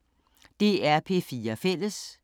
DR P4 Fælles